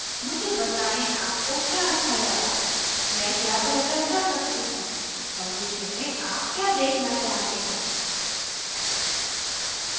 मुझे बताएं आपको क्या अच्छा लगा मैं क्या बेहतर कर सकती थी भविष्य में आप क्या देखना चाहते हैं